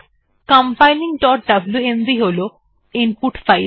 এখানে compilingডব্লুএমভি হল ইনপুট ফাইল